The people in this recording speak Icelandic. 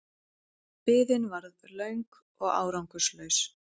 Biðin varð löng og árangurslaus.